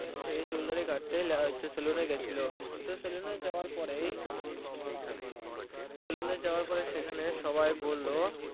সে চুল দাড়ি কাটতে saloon এ গিয়েছিলো তো saloon এ যাওয়ার পরেই তো saloon এ যাওয়ার পরে সবাই বললো